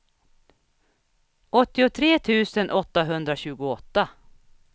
åttiotre tusen åttahundratjugoåtta